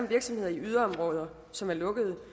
virksomheder i yderområder som er lukket